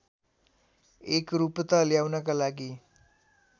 एकरूपता ल्याउनका लागि